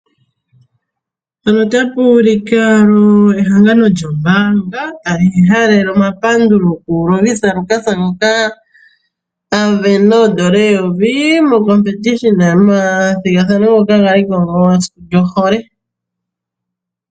Ehangano lyo mbaanga tali halele omapandulo ku Lovisa Lukas ngoka a sindana oondola eyovi momathigathano ngoka galiko momasiku gohole.